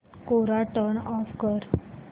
कोरा turn off कर